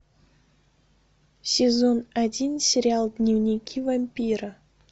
сезон один сериал дневники вампира